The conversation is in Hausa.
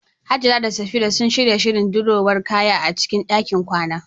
Hajara da Safira suna shirin sanya dirowar kaya a cikin ɗakin kwana.